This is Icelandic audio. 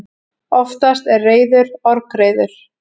Oftast er reiður orgreiður.